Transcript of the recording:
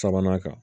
Sabanan kan